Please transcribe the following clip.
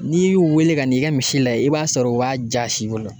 N'i y'u wele ka n'i ka misi layɛ, i b'a sɔrɔ o b'a jasi i bolo.